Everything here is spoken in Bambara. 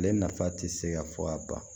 Ale nafa tɛ se ka fɔ ka ban